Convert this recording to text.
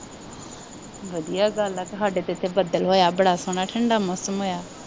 ਵਧੀਆ ਗੱਲ ਆ। ਸਾਡੇ ਆ ਇੱਥੇ ਬੱਦਲ ਹੋਇਆ। ਬੜਾ ਸੋਹਣਾ ਠੰਡਾ ਮੌਸਮ ਆ।